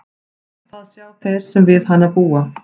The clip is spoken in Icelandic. Það sjá þeir sem við hana búa.